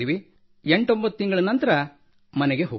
89 ತಿಂಗಳ ನಂತರ ಮನೆಗೆ ಹೋಗುತ್ತೇನೆ